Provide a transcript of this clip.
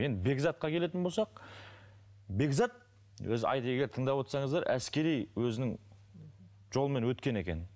енді бекзатқа келетін болсақ бекзат өзі тыңдап отырсаңыздар әскери өзінің жолымен өткен екен